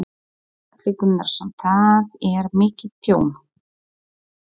Gunnar Atli Gunnarsson: Það er mikið tjón?